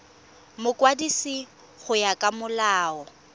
mokwadisi go ya ka molao